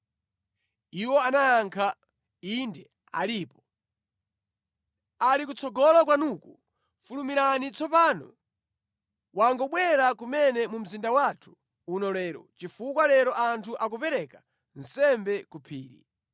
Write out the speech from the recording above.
Iwo anayankha, “Inde alipo. Ali kutsogolo kwanuku, fulumirani tsopano, wangobwera kumene mu mzinda wathu uno lero, chifukwa lero anthu akupereka nsembe ku phiri.